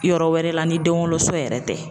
Yɔrɔ wɛrɛ la ni den woloso yɛrɛ tɛ.